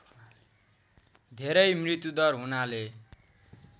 धेरै मृत्युदर हुनाले